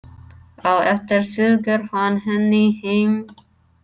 Á eftir fylgir hann henni heim.